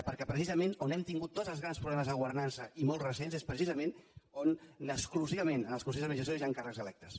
perquè precisament on hem tingut tots els grans problemes de governança i molt recents és precisament on exclusivament en els consells d’administració hi han càrrecs electes